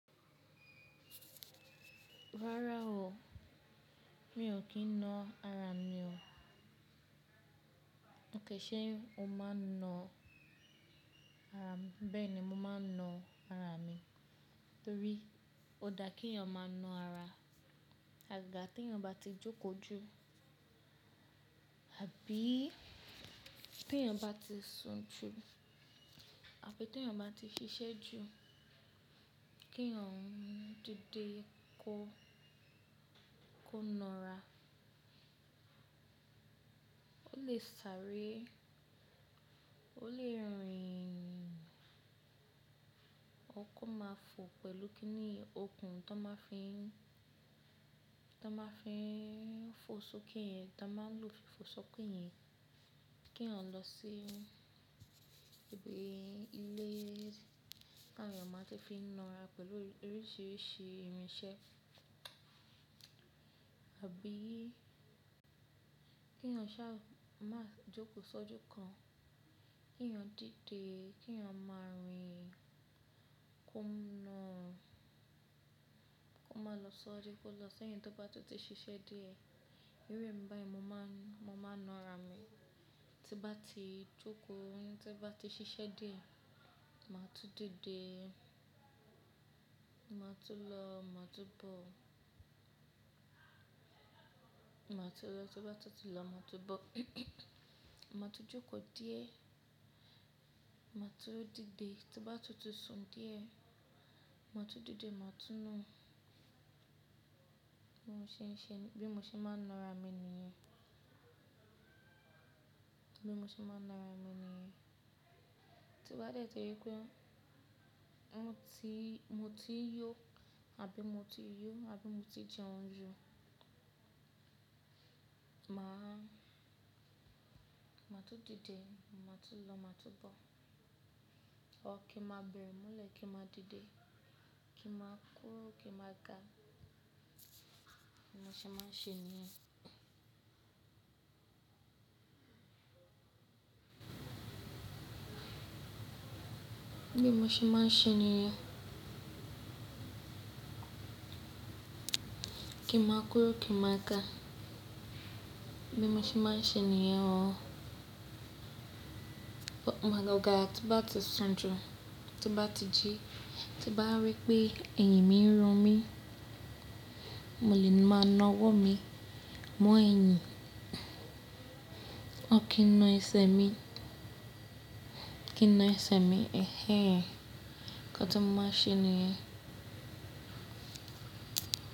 Rárá o, mi ò kí ń na ara mi o. Òkè ṣe o máa ń na ara, bẹ́ẹ̀ ni mo máa ń na ara mi, torí ó dá kí èèyàn máa na ara. Àgàgà tí èèyàn bá ti jókòó jù, àbí tí èèyàn bá ti sùn jù, àbí tí èèyàn bá ti ṣiṣẹ́ jù, kí èèyàn dede kò kó na ara. Ó lè sáré, ó lè rìn, or kó máa fò pẹ̀lú kíní òkun tán máa fi, tán máa fi n fò sókè, ta máa lò fi fò sókè yẹn, kí èèyàn lọ sí ibi ilé táwọn èèyàn máa ti fi na ara pẹ̀lú oríṣiríṣi irinṣẹ́. Àbí kí èèyàn ṣá má jókòó sójú kan, kí èèyàn dide, kí èèyàn máa rìn kó máa lọ siwaju, kó lọ sí ẹyin tó bá tún ti ṣiṣẹ́ díẹ̀. Irú èmi báyìí mo máa, mo máa na ara mi. Tí n bá ti jókòó, tí n bá ti ṣiṣẹ́ diẹ, màá tún dìde, màá tún lọ, màá tún bọ̀. Màá tú lọ, tí bá ti lọ, màá tún bọ̀. Màá tú jókòó díẹ̀, màá tú dìde, tí bá ti tú sùn díẹ̀, màá tú dìde, màá tún nà. Mo ṣe ń ṣe bí mo ṣe máa ń na ara mi nìyẹn. Bí mo ṣe máa ń na ara mi nìyẹn. Tí bá dẹ́tì ri pé mo ti, mo ti yó àbí mo ti yó, àbí mo ti jẹun ju, màá, màá tú dìde, màá tú lọ, màá tú bọ̀. Or kí n máa bẹ̀rẹ̀ mọlẹ̀, kí n máa dìde, kí n máa kúru, kí n máa ga. Bí mo ṣe máa ń ṣe nìyẹn. Bí mo ṣe máa ń ṣe nìyẹn. Kí máa kúrú, kí máa ga. Bí mo ṣe máa ń ṣe nìyẹn o. Agàgà tí n bá ti sùn jù, tí bá ti jí, tí bá rí pé ẹ̀yìn mi ń run mí, mo lè máa na ọwọ́ mi mọ ẹ̀yìn. Or kí ń na ẹsẹ̀ mi, kí ń na ẹsẹ̀ mi ẹ̀hẹ̀n. Nka ti mo máa n ṣe nìyẹn?